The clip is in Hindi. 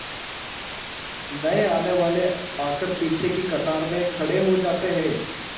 नए आने वाले आकर पीछे की कतार में खड़े हो जाते हैं